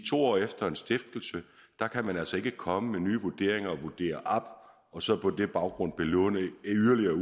to år efter en stiftelse kan man altså ikke komme med nye vurderinger og vurdere op og så på den baggrund belåne yderligere